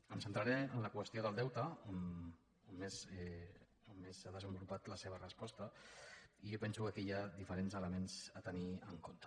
em centraré en la qüestió del deute on més s’ha desenvolupat la seva resposta i jo penso que aquí hi ha diferents elements a tenir en compte